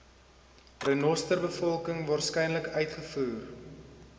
renosterbevolking waarskynlik uitgevoer